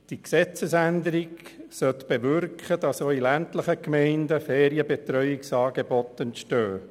Die Gesetzesänderung sollte bewirken, dass auch in ländlichen Gemeinden Ferienbetreuungsangebote entstehen.